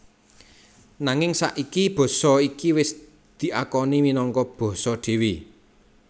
Nanging saiki basa iki wis diakoni minangka basa dhéwé